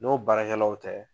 N'o baarakɛlaw tɛ.